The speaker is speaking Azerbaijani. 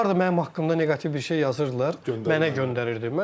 Deyir harda mənim haqqımda neqativ bir şey yazırdılar, mənə göndərirdi.